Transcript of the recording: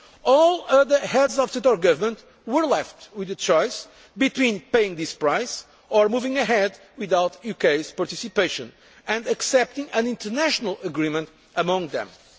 All the other Heads of State or Government were left with the choice between paying this price or moving ahead without the UK's participation and accepting an international agreement among themselves.